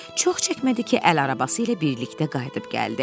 Çox çəkmədi ki, əl arabası ilə birlikdə qayıdıb gəldi.